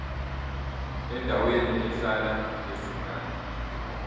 endaweni ehlala izingane